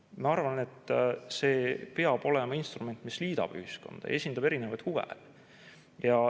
Ma arvan, et see peab olema instrument, mis liidab ühiskonda, esindab erinevaid huve.